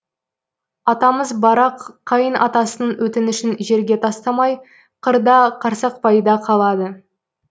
атамыз барақ қайын атасының өтінішін жерге тастамай қырда қарсақпайда қалады